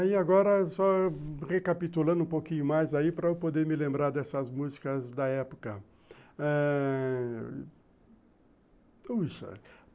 Aí agora, só recapitulando um pouquinho mais aí para eu poder me lembrar dessas músicas da época ãh...